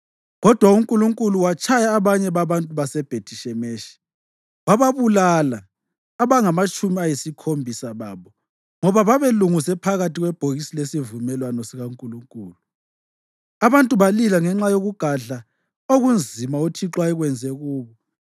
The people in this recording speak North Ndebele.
Kodwa uNkulunkulu watshaya abanye babantu baseBhethi-Shemeshi, wabulala abangamatshumi ayisikhombisa babo ngoba babelunguze phakathi kwebhokisi lesivumelwano sikaNkulunkulu. Abantu balila ngenxa yokugadla okunzima uThixo ayekwenze kubo,